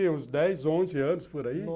Eu só tinha uns dez, onze anos, por aí.